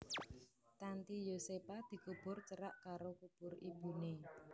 Tanty Yosepha dikubur cerak karo kubur ibuné